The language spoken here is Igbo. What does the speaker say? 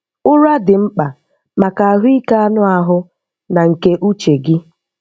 Ụra dị mkpa maka ahụike anụ ahụ na nke uche gị.